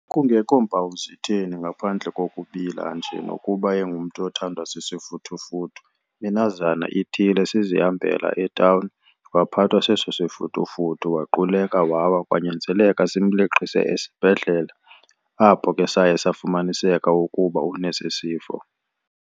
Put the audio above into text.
Kungekho mpawu zitheni ngaphandle kokubila nje nokuba engumntu othandwa sisifuthufuthu. Minazana ithile sizihambela etawuni waphathwa seso sifuthufuthu waquleka wawa kwanyanzeleka simleqise esibhedlele apho ke saye safumaniseka ukuba unesi sifo.